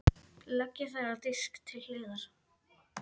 Leggið þær á disk til hliðar.